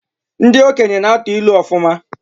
Ndị okenye na-atụ ilu ọfụma.